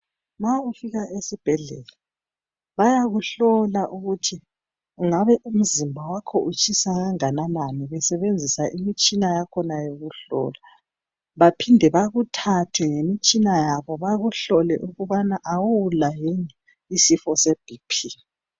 Ma ufika esibhedlela bayakuhlola ukuthi umzimba wakho utshisa kangakanani. Besebenzisa imitshina yakhona yokuhlola. Baphinde bakuthathe ngemitshina yabo, bakuhlole ukubana kawula yini isifo seBP.